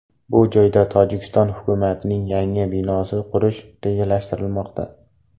Bu joyda Tojikiston hukumatining yangi binosini qurish rejalashtirilmoqda.